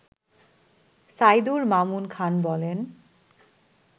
সাইদুর মামুন খান বলেন